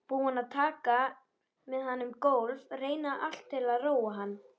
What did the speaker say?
Búin að ganga með hann um gólf, reyna allt til að róa hann.